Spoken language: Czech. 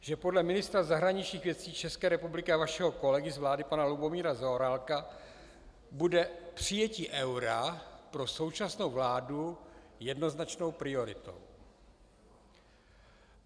, že podle ministra zahraničních věcí České republiky a vašeho kolegy z vlády pana Lubomíra Zaorálka bude přijetí eura pro současnou vládu jednoznačnou prioritou.